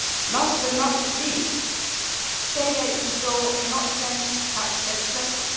aid. Last but not least, State aid control cannot change tax legislation.